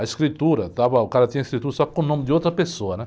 A escritura, estava, o cara tinha a escritura só que com o nome de outra pessoa, né?